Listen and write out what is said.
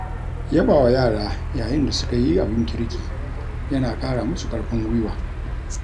Yabawa yara yayin da suka yi abin kirki, yana ƙara musu ƙarfin guiwa.